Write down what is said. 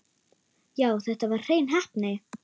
Já, þetta var hrein heppni.